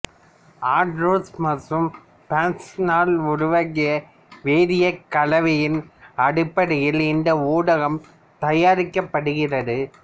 Andrews மற்றும் Bresnell உருவாக்கிய வேதிக் கலவையின் அடிப்படையில் இந்த ஊடகம் தயாரிக்கப்படுகிறது